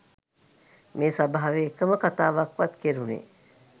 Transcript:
මේ සභාවේ එකම කතාවක්වත් කෙරුණේ